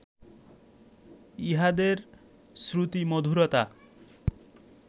ইহাদের শ্রুতিমধুরতা